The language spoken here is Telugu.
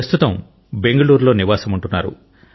ప్రస్తుతం బెంగళూరులో నివాసముంటున్నారు